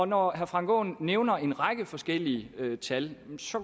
når herre frank aaen nævner en række forskellige tal så